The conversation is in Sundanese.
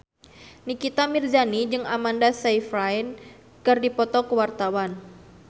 Nikita Mirzani jeung Amanda Sayfried keur dipoto ku wartawan